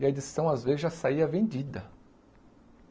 E a edição, às vezes, já saía vendida.